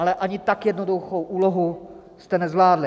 Ale ani tak jednoduchou úlohu jste nezvládli.